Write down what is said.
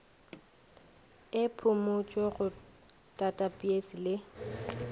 e phumutšwe go tathapeisi le